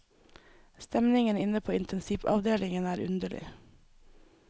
Stemningen inne på intensivavdelingen er underlig.